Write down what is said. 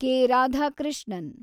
K. Radhakrishnan